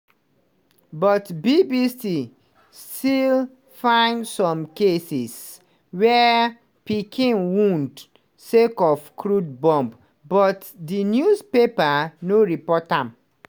but bbc still find some cases wia pikin wound sake of crude bomb but di newspapers no report am.